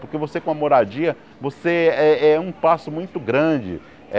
Porque você com a moradia, você é é um passo muito grande.